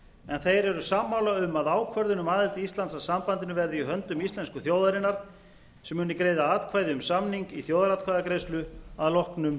en þeir eru sammála um að ákvörðun um aðild íslands að sambandinu verði í höndum íslensku þjóðarinnar sem muni greiða atkvæði um samning í þjóðaratkvæðagreiðslu að loknum